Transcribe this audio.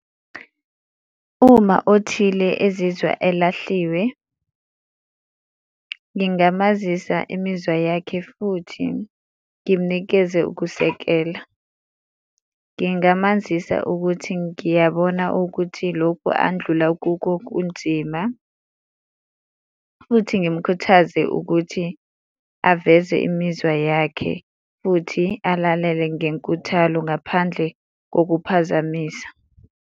Uma othile ezizwa elahliwe, ngingamazisa imizwa yakhe futhi ngimnikeze ukusekela. Ngingamazisa ukuthi ngiyabona ukuthi loku andlula kuko kunzima, futhi ngimukhuthaze ukuthi aveze imizwa yakhe futhi alalele ngenkuthalo ngaphandle kokuphazamisa.